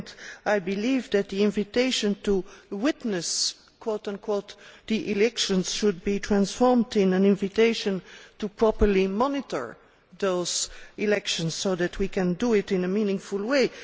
Secondly, I believe that the invitation to witness' the elections should be changed to an invitation to properly monitor those elections, so that we can do it a meaningful way.